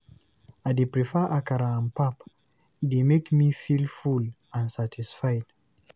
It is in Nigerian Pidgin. I dey prefer akara and pap, e dey make me feel full and satisfied.